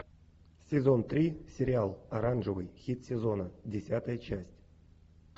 сезон три сериал оранжевый хит сезона десятая часть